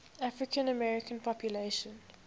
african american population